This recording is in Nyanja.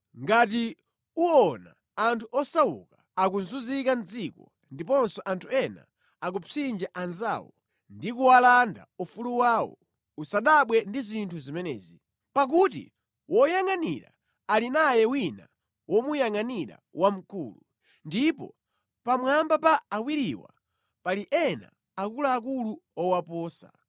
Ngati uwona anthu osauka akuzunzika mʼdziko, ndiponso anthu ena akupsinja anzawo ndi kuwalanda ufulu wawo, usadabwe ndi zinthu zimenezi; pakuti woyangʼanira ali naye wina womuyangʼanira wamkulu, ndipo pamwamba pa awiriwa pali ena akuluakulu owaposa.